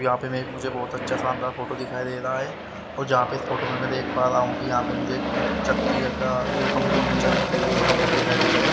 यहां पे मैं एक मुझे बहुत अच्छा शानदार फोटो दिखाई दे रहा है और जहां पे इस फोटो में मैं देख पा रहा हूं कि यहां पे मुझे एक चक्की ये कंपनी में चक्की लगी हुई उसका फोटो दिखाई दे रहा है।